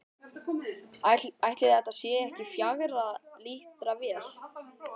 Ætli þetta sé ekki fjögurra lítra vél?